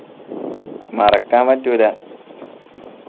മറക്കാൻ പറ്റൂല